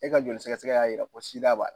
E ka joli sɛgɛsɛgɛ y'a yira ko SIDA b'a la